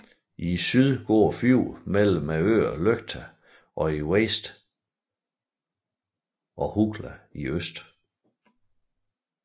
I syd går fjorden mellem øerne Løkta i vest og Hugla i øst